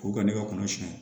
K'u ka ne ka kɔnɔ siɲɛ